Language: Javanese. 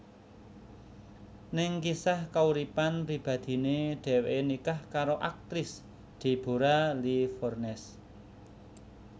Ning kisah kauripan pribadiné dheweké nikah karo aktris Deborra Lee Furness